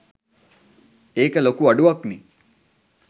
ඒක ලොකු අඩුවක්නේ.